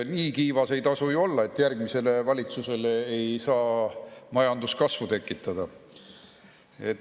Nii kiivas ei tasu ju olla, et järgmisele valitsusele ei saa majanduskasvu tekitada.